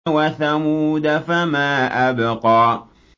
وَثَمُودَ فَمَا أَبْقَىٰ